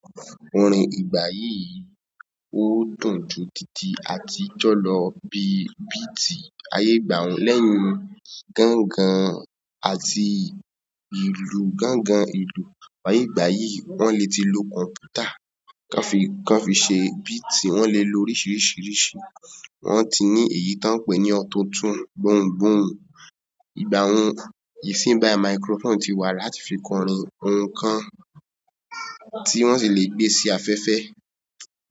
Orin ìgbà yìí ó dùn ju títí àtijọ́ lọ bí i bíi ti ayé ìgbàa un lẹ́yìn gángan àti ìlù. Gángan ìlù láyé ìgbà yìí wọ́n lè ti lo kọ̀m̀pútà kí wọ́n fi ṣe bíi ti wọ́n lè lo oríṣiríṣi irú, wọ́n ti ní èyí tí wọ́n ń pè ní ọ̀tunọ̀tun, gbohùn gbohùn ìgbàa un. Ìsíǹ báyì microphone ti wà láti fi kọrin nǹkan tí wọ́n sì lè gbé sí afẹ́fẹ́.